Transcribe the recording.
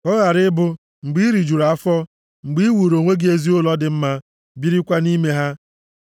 Ka ọ ghara ị bụ, mgbe i riri rijuru afọ, mgbe i wuuru onwe gị ezi ụlọ dị mma birikwa nʼime ha,